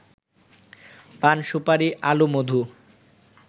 পান-সুপারি, আলু, মধু